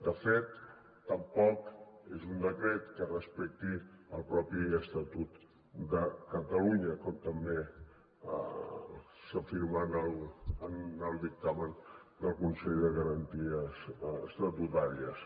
de fet tampoc és un decret que respecti el mateix estatut de catalunya com també s’afirma en el dictamen del consell de garanties estatutàries